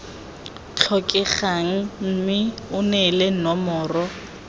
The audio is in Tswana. tlhokegang mme o neele nomoro